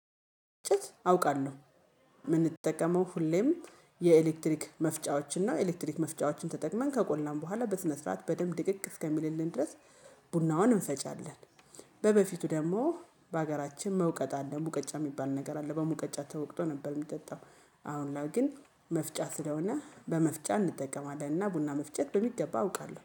እነጨት አውቃለሁ። የምንጠቀመው ሁሌም የኤሌክትሪክ መፍጫዎችን ነው ኤሌክትሪክ መፍጫዎችን ተጠቅመን ከቆላን በኋላ በስነ ስርዓት በደንብ ድቅቅ እስከሚልልን ድረስ ቡናውን እንፈጫለን። በበፊቱ ደግሞ በሀገራችን መውቀጥ አለ ሙቀጫ የሚባል ነገር አለ። በሙቀጫ ተወቅጦ ነበር የሚጠጣው። አሁን ላይ ግን መፍጫ ስለሆነ በመፍጫ እንጠቀማለን እና ቡና መፍጨት በሚገባ አውቃለሁ